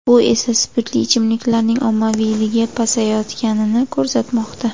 Bu esa spirtli ichimliklarning ommaviyligi pasayayotganini ko‘rsatmoqda.